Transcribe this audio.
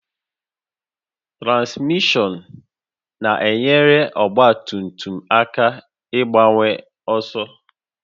Transmishọn na-enyere ọgba tum tum aka ịgbanwe ọsọ